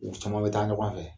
U caman bɛ taa ɲɔgɔn fɛ.